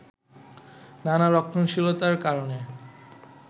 নানা রক্ষণশীলতার কারণে